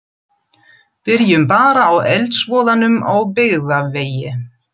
Byrjum bara á eldsvoðanum á Byggðavegi.